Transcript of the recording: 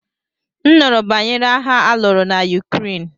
M nụrụ banyere agha aluru na Ukraine.